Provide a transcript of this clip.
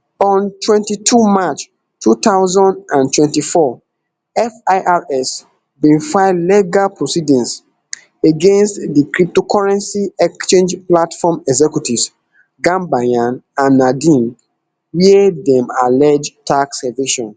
on twenty-two march two thousand and twenty-four firs bin file legal proceedings against di cryptocurrency exchange platform executives gambaryan and nadeem wia dem allege tax evasion